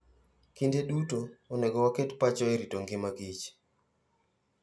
Kinde duto, onego waket pachwa e rito ngima kich.